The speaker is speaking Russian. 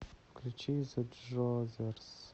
включи зэ джозерс